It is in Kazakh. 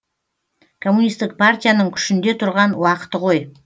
коммунистік партияның күшінде тұрған уақыты ғой